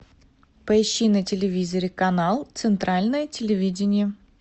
поищи на телевизоре канал центральное телевидение